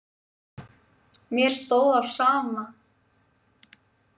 Mér stóð á sama.